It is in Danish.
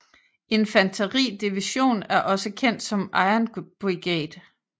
Infanteri Division er også kendt som Iron Brigade